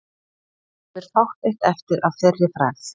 Nú lifir fátt eitt eftir að þeirri frægð.